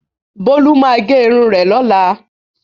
Bolu ma ge irun rẹ lola.